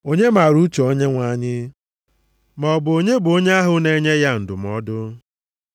“Onye maara uche Onyenwe anyị? Ma ọ bụ onye bụ onye ahụ na-enye ya ndụmọdụ?” + 11:34 \+xt Aịz 40:13\+xt*